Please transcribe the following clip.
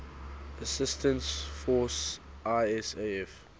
assistance force isaf